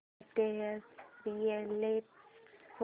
latest reality show